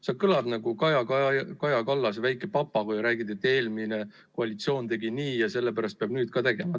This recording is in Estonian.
Sa kõlad nagu Kaja Kallase väike papagoi – kordad, et eelmine koalitsioon tegi nii ja sellepärast peab nüüd ka tegema.